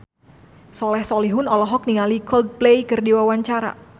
Soleh Solihun olohok ningali Coldplay keur diwawancara